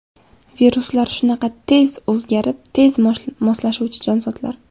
Viruslar shunaqa tez o‘zgarib, tez moslashuvchi jonzotlar.